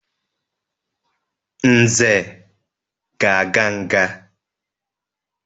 Nze ga-aga nga.